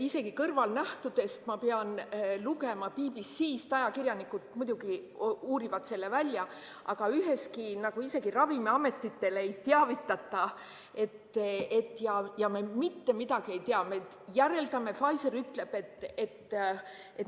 Isegi kõrvalnähtudest ma pean lugema BBC-st, ajakirjanikud muidugi uurivad selle välja, aga isegi ravimiameteid ei teavitata ja me mitte midagi ei tea.